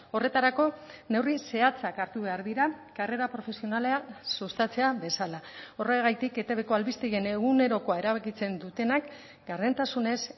horretarako neurri zehatzak hartu behar dira karrera profesionala sustatzea bezala horregatik etbko albistegien egunerokoa erabakitzen dutenak gardentasunez